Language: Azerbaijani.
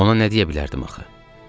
Ona nə deyə bilərdim axı?